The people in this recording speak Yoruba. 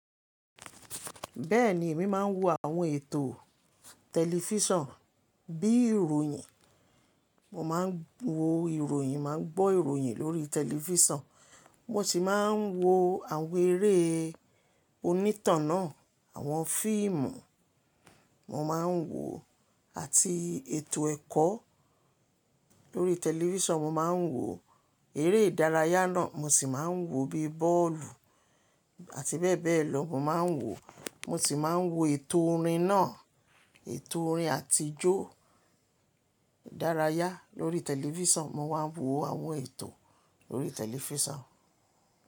Bẹ́ẹ̀ni, èmi máa ń wo àwọn ètò tẹlifíṣàn bí i ìròyìn. Mo máa ń wo ìròyìn, màá ń gbọ́ ìròyìn lórí tẹlifíṣàn. Mo sì máa ń wo àwọn eré onítàn náà, àwọn fíìmù mo máa ń wo àti ètò ẹ̀kọ́ lórí tẹlifíṣàn. Mo máa ń wo eré ìdárayá náà, mo sì máa ń wo bíi bọ́ọ̀lù àti bẹ́ẹ̀ bẹ́ẹ̀ lọ mo máa ń wo. Mo sì máa ń wo ètò orin náà, ètò orin àti ijó ìdárayá lórí tẹlifíṣàn. Mo máa ń wo àwọn ètò lórí tẹlifíṣàn.